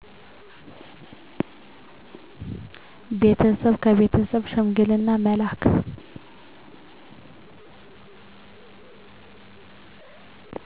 ቤተሰብ ከቤተሰብ ሽምግልና መላክ